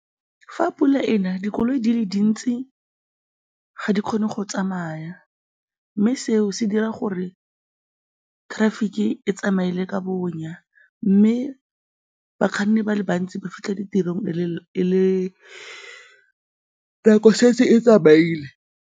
Fa pula e na, dikoloi di le dintsi ga di kgone go tsamaya mme seo se dira gore traffic-i e tsamaele ka bonya mme bakganni ba le bantsi ba fitlha ditirong nako e setse e tsamaile.